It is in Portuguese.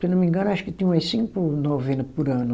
Se eu não me engano, acho que tinha umas cinco novena por ano.